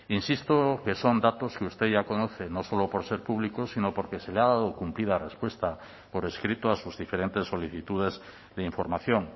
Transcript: insisto que son datos que usted ya conoce no solo por ser públicos sino porque se le ha dado cumplida respuesta por escrito a sus diferentes solicitudes de información